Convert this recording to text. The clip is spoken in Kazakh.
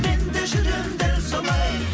мен де жүрем дәл солай